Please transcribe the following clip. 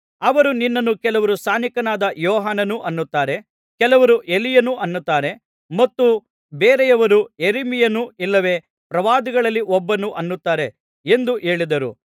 ಅವರು ನಿನ್ನನ್ನು ಕೆಲವರು ಸ್ನಾನಿಕನಾದ ಯೋಹಾನನು ಅನ್ನುತ್ತಾರೆ ಕೆಲವರು ಎಲೀಯನು ಅನ್ನುತ್ತಾರೆ ಮತ್ತು ಬೇರೆಯವರು ಯೆರಮೀಯನು ಇಲ್ಲವೆ ಪ್ರವಾದಿಗಳಲ್ಲಿ ಒಬ್ಬನು ಅನ್ನುತ್ತಾರೆ ಎಂದು ಹೇಳಿದರು